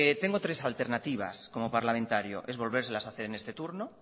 tengo tres alternativas como parlamentario son volvérselas a hacer en este turno